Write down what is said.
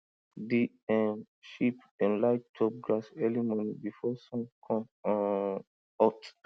di um sheep dem like chop grass early morning before sun come um hot